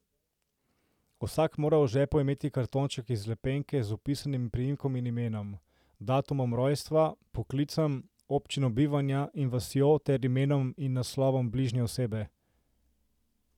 Vsak mora v žepu imeti kartonček iz lepenke z vpisanim priimkom in imenom, datumom rojstva, poklicem, občino bivanja in vasjo ter imenom in naslovom bližnje osebe.